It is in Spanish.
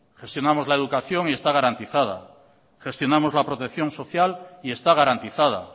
gestionamos la educación y está garantizada gestionamos la protección social y está garantizada